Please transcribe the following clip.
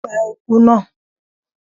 Pa ieku náà!